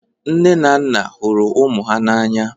Nne na nna na-ahụ ụmụ ha n'anya